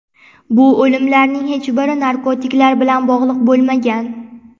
Bu o‘limlarning hech biri narkotiklar bilan bog‘liq bo‘lmagan.